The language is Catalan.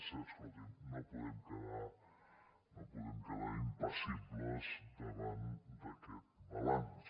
és que escolti’m no podem quedar impassibles davant d’aquest balanç